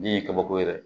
Bin ye kabako ye dɛ